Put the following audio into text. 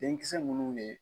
Denkisɛ munnu ye